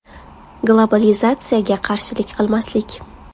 Globalizatsiyaga qarshilik qilmaslik.